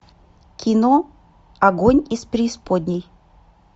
кино огонь из преисподней